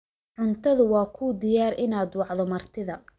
Cuntadu waa kuu diyaar inaad wacdo martida